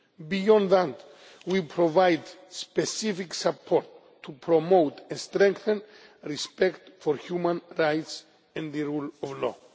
Beyond that, we provide specific support to promote and strengthen respect for human rights and the rule of law.